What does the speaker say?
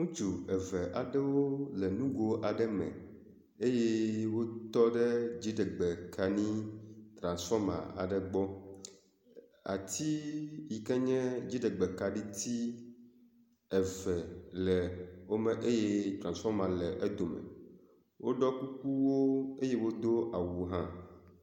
Ŋutsu eve aɖewo le nogo aɖe me eye wotɔ ɖe dziɖegbe kaɖi trasfɔma aɖe gbɔ. Ati yike nye dziɖegbe kaɖiti eve le wo gbɔ eye trasfɔma le edome. Woɖɔ kukuwo eye wodo awu hã.